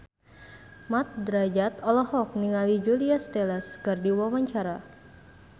Mat Drajat olohok ningali Julia Stiles keur diwawancara